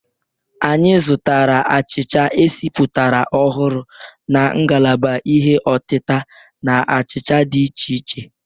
Anyị zụtara achicha esipụtara ọhụrụ na ngalaba ihe ọtita na achịcha dị iche iche.